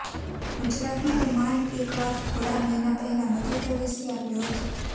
ગુજરાતમાં તો માંડ એક વાઘ થોડા મહિના પહેલાં મધ્યપ્રદેશથી આવ્યો હતો